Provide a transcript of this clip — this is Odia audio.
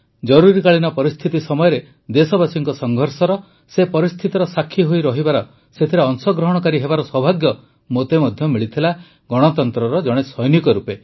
ଜରୁରୀକାଳୀନ ପରିସ୍ଥିତି ସମୟରେ ଦେଶବାସୀଙ୍କ ସଂଘର୍ଷର ସେ ପରିସ୍ଥିତିର ସାକ୍ଷୀ ହୋଇରହିବାର ସେଥିରେ ଅଂଶଗ୍ରହଣକାରୀ ହେବାର ସୌଭାଗ୍ୟ ମୋତେ ମଧ୍ୟ ମିଳିଥିଲା ଗଣତନ୍ତ୍ରର ଜଣେ ସୈନିକ ରୂପେ